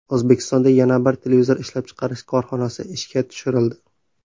O‘zbekistonda yana bir televizor ishlab chiqarish korxonasi ishga tushirildi.